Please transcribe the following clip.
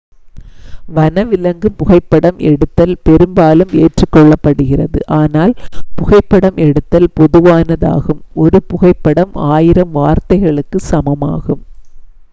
வனவிலங்கு புகைப்படம் எடுத்தல் பெரும்பாலும் ஏற்றுக் கொள்ளப்படுகிறது ஆனால் புகைப்படம் எடுத்தல் பொதுவானதாகும் ஒரு புகைப்படம் ஆயிரம் வார்த்தைகளுக்கு சமமாகும்